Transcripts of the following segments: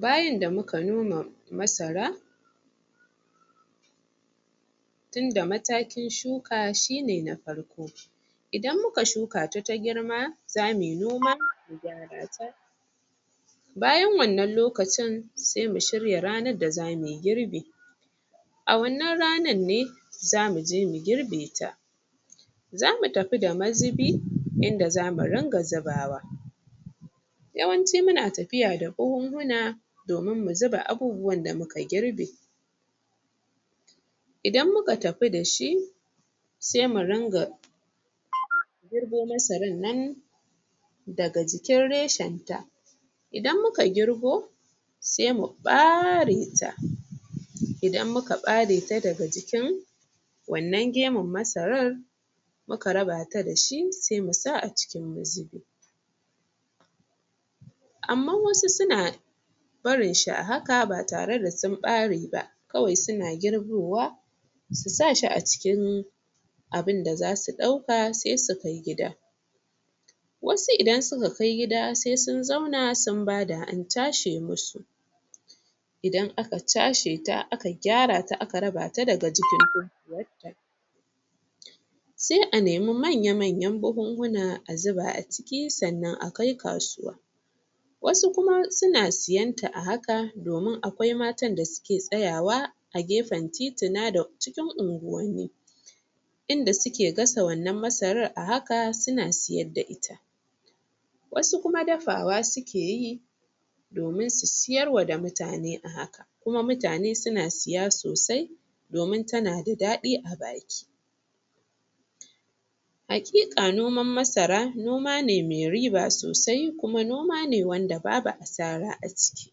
Byan in da muka noma masara tunda matakin shuka shi ne na farko idan muka shukuta ta girma za mu yi noma, bayan wannan lokacin sai mu shirya ranar da zamu yi girbi a wannan ranar ne za mu je mu girbe ta za mu tafi da mazubi in da za mu ringa zubawa yawanci muna tafiya da buhunhuna, domin mu zuba abubuwan da muka girbe. Idan muka tafi da shi sai mu ringa girbo masarar nan daga jikin reshenta idan muka girbo sai mu ɓare ta idan muka ɓare ta daga jikin, wannan gemun masarar muka raba ta da shi sai mu sa a cikin mazubi. Amman wasu suna barin shi a haka ba tare da sun ɓare ba. kawai suna girbowa su sa shi a cikin abin da za su ɗauka sai su kai gida. Wasu idan suka kai gida sai sun zauna sun bada an cashe musu Idan aka cashe ta a ka gyara ta aka raba ta daga jikin totuwar sai anemi manya-manyan buhunna a zuba a ciki sannan a kai kasuwa. wasu kuma suna siyen ta a haka domin akwai matan da suke tsayawa a gefen tituna da cikin unguwanni in da suke gasa wannan masarar a haka suna siyar da ita. wasu kuma dafawa suke yi domin su siyar wa da mutane a haka kuma mutane suna siya sosai domin tana da daɗi a baki. Haƙiƙa noman masara noma ne mai riba sosai kuma noma ne wanda babu asara a ciki.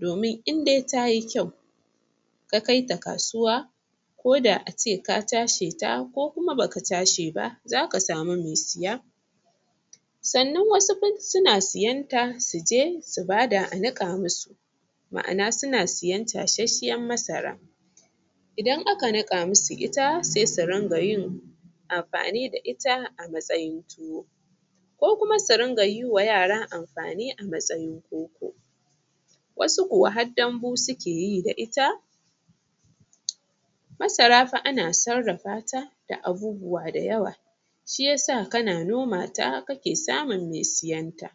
domin in dai ta yi kyau, ka kaita kasuwa ko da ace ka casheta ko ba ka cashe ba za ka samu mai siya. Sannan wasu kuma suna siyenta su je su ba da a niƙa musu. ma'ana suna siyen cashashshiyar masara idan aka niƙa masu ita, sai su ringa yin amfani da ita a matsayin tuwo. ko kuma su ringa yi wa yara amfani a matsayin koko. wasu kuwa har dambu suke yi da ita Masara fa ana sarrafata da abubuwa da yawa. Shi ya sa kana noma ta kake samun mai siyan ta.